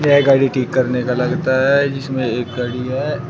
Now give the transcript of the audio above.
यह गाड़ी ठीक करने का लगता है जिसमें एक गाड़ी है।